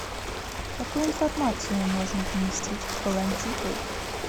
какую информацию можно поместить в колонтитул